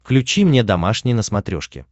включи мне домашний на смотрешке